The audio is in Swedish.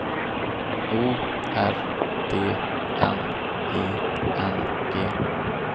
O R D N I N G